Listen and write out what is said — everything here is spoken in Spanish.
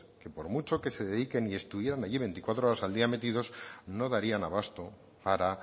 que por mucho que se dediquen y estuvieran allí veinticuatro horas al día metidos no darían abasto para